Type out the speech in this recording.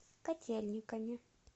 котельниками